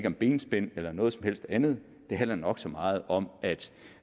om benspænd eller noget som helst andet det handler nok så meget om